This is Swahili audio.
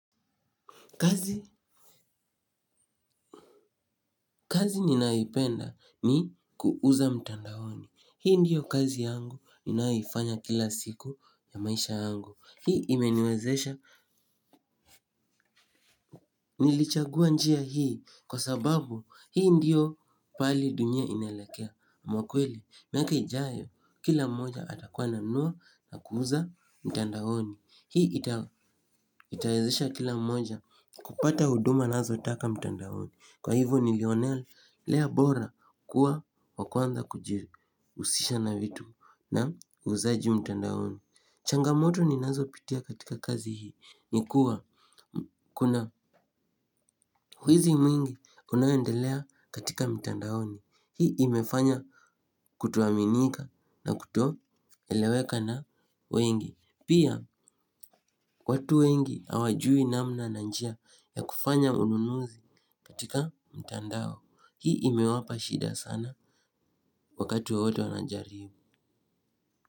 Kazi ninayo ipenda ni kuuza mtandaoni. Hii ndiyo kazi yangu ninayoifanya kila siku ya maisha yangu. Hii imeniwezesha nilichagua njia hii kwa sababu hii ndiyo pali dunia inaelekea. Mwa kweli miaka ijayo kila mmoja atakuwa ananua na kuuza mtandaoni. Hii itawezesha kila mmoja kupata huduma anazotaka mtandaoni. Kwa hivyo ni lionelea bora kuwa wakwanza kuji husisha na vitu na uuzaji mtandaoni. Changamoto ni nazo pitia katika kazi hii. Nikuwa kuna wizi mwingi unaoendelea katika mtandaoni. Hii imefanya kutoaminika na kuto eleweka na wengi. Pia watu wengi hawajui namna na njia ya kufanya ununuzi katika mtandao hii imewapa shida sana wakati wowote wanajaribu.